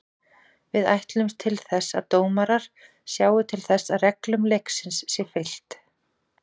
Við ætlumst til þess að dómarar sjái til þess að reglum leiksins sé fylgt.